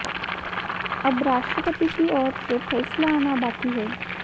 अब राष्ट्रपति की ओर से फैसला आना बाकि है